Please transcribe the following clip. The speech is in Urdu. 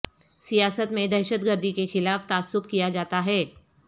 سیاست میں دہشت گردی کے خلاف تعصب کیا جاتا ہے